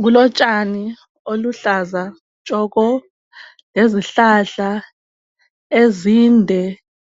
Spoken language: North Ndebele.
Kulotshani obuluhlaza tshoko lezihlahla ezinde